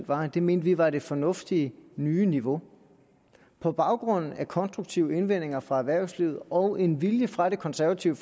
var at vi mente det var det fornuftige nye niveau på baggrund af konstruktive indvendinger fra erhvervslivet og en vilje fra det konservative